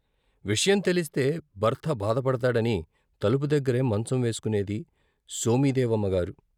విషయం తెలిస్తే భర్త బాధపడతాడని తలుపు దగ్గరే మంచం వేసుకునేది సోమిదేవమ్మగారు.